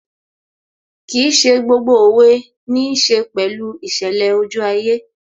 Kìí ṣe gbogbo òwe níí ṣe pẹ̀lú ìṣẹ̀lẹ̀ ojú ayé